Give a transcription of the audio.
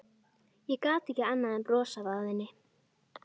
Ég gat ekki annað en brosað að henni.